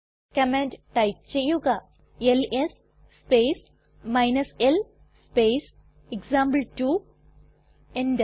command type ചെയ്യുക L S space l space example two enter